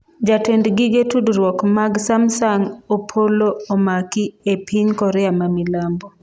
Jatend gige tudruok mag Samsung Opolo omaki e piny Korea ma milambo